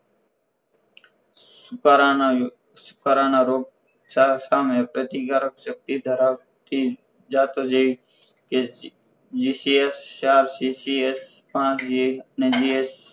સુકરાના સુકારાના રોગ સારંસ સામે પ્રતિકારક સક્તિ ધરાવતી જાતો જેવી કે જીસીએચ ચાર સીસીએચ પાંચ